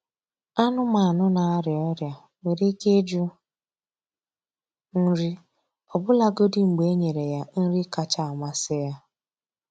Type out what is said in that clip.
Anụmanụ na-arịa ọrịa nwere ike ịjụ nri ọbụlagodi mgbe enyere ya nri kacha amasị ya.